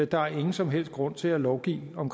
der er ingen som helst grund til at lovgive om